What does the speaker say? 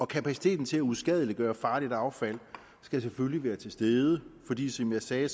kapaciteten til at uskadeliggøre farligt affald skal selvfølgelig være til stede fordi som jeg sagde